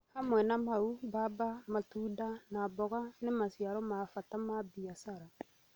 Hamwe na mau, mbamba, matunda, na mboga nĩ maciaro ma bata ma biashara.